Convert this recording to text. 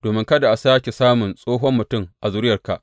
Domin kada a sāke samun tsohon mutum a zuriyarka.